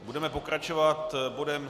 Budeme pokračovat bodem